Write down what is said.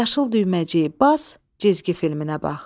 Yaşıl düyməciyi bas, cizgi filminə bax.